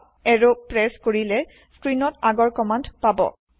up arrow press কৰিলে স্ক্ৰীণত আগৰ কমান্দ পাব